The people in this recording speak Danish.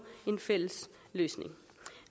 en fælles løsning